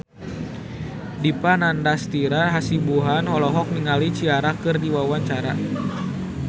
Dipa Nandastyra Hasibuan olohok ningali Ciara keur diwawancara